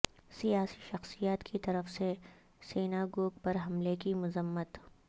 سیاسی شخصیات کی طرف سے سیناگوگ پر حملے کی مذمت